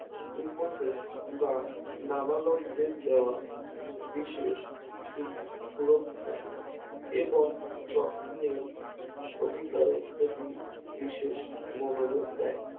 উপসেট বা নাবালকদের দেওয়া বিশেষ সুরক্ষা এবং যত্নে অধিকারের প্রতি বিশেষ মনোযোগ দেয়